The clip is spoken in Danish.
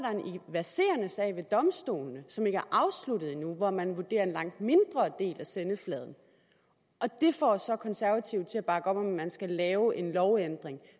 verserende sag ved domstolene som ikke er afsluttet endnu hvor man vurderer en langt mindre del af sendefladen og det får så konservative til at bakke op om at man skal lave en lovændring